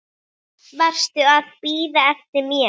Varstu að bíða eftir mér?